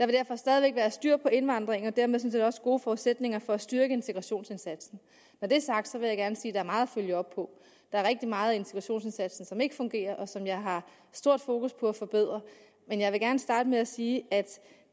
derfor stadig væk være styr på indvandringen og dermed sådan set også gode forudsætninger for at styrke integrationsindsatsen når det er sagt vil jeg gerne sige er meget at følge op på der er rigtig meget af integrationsindsatsen som ikke fungerer og som jeg har stor fokus på at forbedre men jeg vil gerne starte med at sige at